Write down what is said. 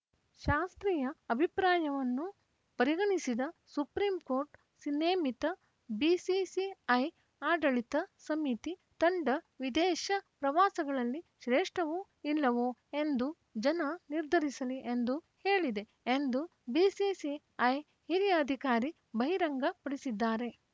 ಶಾಸ್ತ್ರಿಯ ಅಭಿಪ್ರಾಯವನ್ನು ಪರಿಗಣಿಸಿದ supreme court ಸ್ ನೇಮಿತ ಬಿಸಿಸಿಐ ಆಡಳಿತ ಸಮಿತಿ ತಂಡ ವಿದೇಶ ಪ್ರವಾಸಗಳಲ್ಲಿ ಶ್ರೇಷ್ಠವೋ ಇಲ್ಲವೋ ಎಂದು ಜನ ನಿರ್ಧರಿಸಲಿ ಎಂದು ಹೇಳಿದೆ ಎಂದು ಬಿಸಿಸಿಐ ಹಿರಿಯ ಅಧಿಕಾರಿ ಬಹಿರಂಗಪಡಿಸಿದ್ದಾರೆ